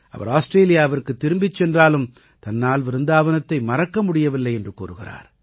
அவர் ஆஸ்ட்ரேலியாவிற்குத் திரும்பிச் சென்றாலும் தன்னால் விருந்தாவனத்தை மறக்க முடியவில்லை என்று கூறுகிறார்